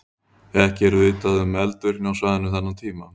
Ekki er vitað um eldvirkni á svæðinu þennan tíma.